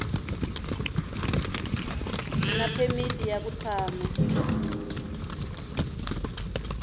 na phemiti ya ku tshama